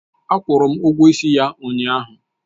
Akwụru ụgwọ ịsị ya ụnyahụ.